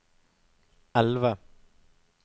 elve